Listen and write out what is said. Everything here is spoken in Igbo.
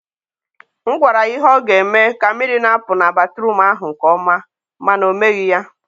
m gwara ya ihe ọ ga-eme ka mmiri na-apụ na batruum ahụ nke ọma, ma na o meghị ya.